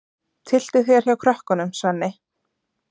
Tylltu þér hjá krökkunum, Svenni.